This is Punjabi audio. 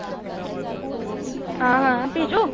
ਹਾਂ ਹਾਂ ਪਿਚੁ